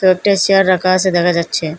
কয়েকটা সেয়ার রাখা আসে দেখা যাচ্ছে।